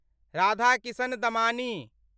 Radhakishan Damani